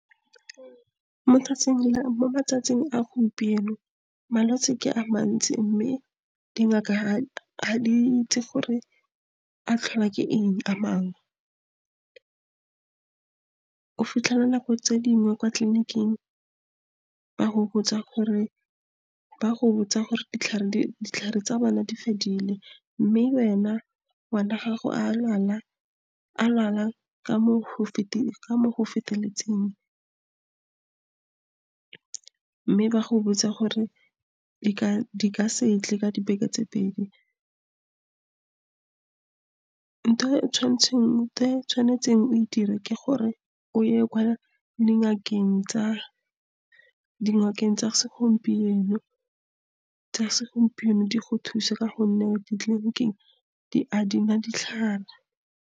Mo tsatsing le, mo matsatsing a gompieno malwetsi ke a mantsi, mme dingaka a di itse gore a tlhola ke eng a mangwe. O fitlhela nako tse dingwe kwa tleliniking, ba go botsa gore ditlhare tsa bana di fedile, mme wena ngwana wa gago a lwala ka mo ho, ka mo go feteletseng mme ba go botse gore di ka se tle ka dibeke tse pedi. ntho e tshwanetseng o e dire ke gore o ye kwa dingakeng tsa segompieno di go thuse ka gonne ditleliniking a di na ditlhare.